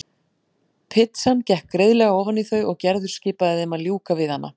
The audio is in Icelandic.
Pitsan gekk greiðlega ofan í þau og Gerður skipaði þeim að ljúka við hana.